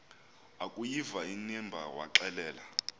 akuyiva inimba waxelela